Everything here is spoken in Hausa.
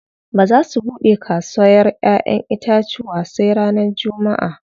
Ba za su buɗe kasawar ƴaƴen itacuwa sai ranar jummaʼa.